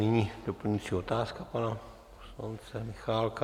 Nyní doplňující otázka pana poslance Michálka.